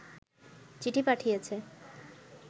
চিঠি পাঠিয়েছে